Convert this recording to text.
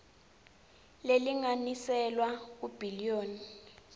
lelinganiselwa kur billion